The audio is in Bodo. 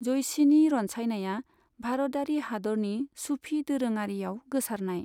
जयसिनि रनसायनाया भारतयारि हादरनि सुफि दोरोङारियाव गोसारनाय।